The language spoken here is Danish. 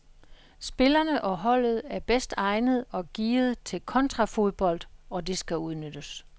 Spillerne og holdet er bedst egnet og gearet til kontrafodbold, og det skal udnyttes.